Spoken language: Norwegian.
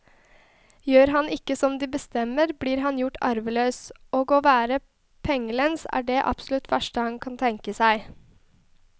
Gjør han ikke som de bestemmer, blir han gjort arveløs, og å være pengelens er det absolutt verste han kan tenke seg.